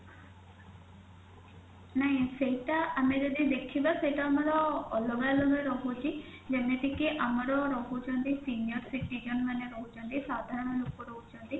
ନାଇଁ ସେଇଟା ଆମେ ଯଦି ଦେଖିବା ସେଇଟା ଆମର ଅଲଗା ଅଲଗା ରହୁଛି ଯେମିତିକି ଆମର ରହୁଛନ୍ତି senior citizen ମାନେ ରହୁଛନ୍ତି ସାଧାରଣ ଲୋକ ରହୁଛନ୍ତି